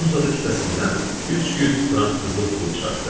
Uzun-uzadı kisəsindən 300 frank qızıl pul çıxartdı.